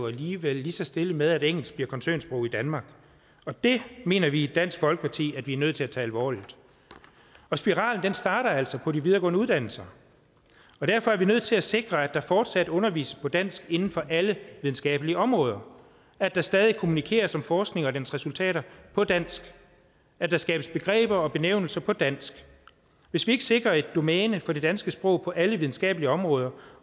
alligevel lige så stille med at engelsk bliver koncernsprog i danmark og det mener vi i dansk folkeparti at vi er nødt til at tage alvorligt spiralen starter altså på de videregående uddannelser og derfor er vi nødt til at sikre at der fortsat undervises på dansk inden for alle videnskabelige områder at der stadig kommunikeres om forskning og dens resultater på dansk at der skabes begreber og benævnelser på dansk hvis vi ikke sikrer et domæne for det danske sprog på alle videnskabelige områder